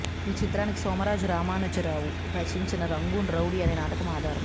ఈ చిత్రానికి సోమరాజు రామానుజరావు రచించిన రంగూన్ రౌడీ అనే నాటకం ఆధారం